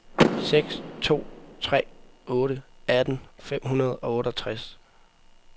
seks to tre otte atten fem hundrede og otteogtres